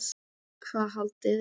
Hvað haldið þið!